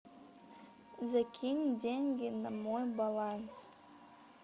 закинь деньги на мой баланс